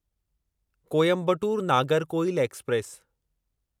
Coimbatore Nagercoil express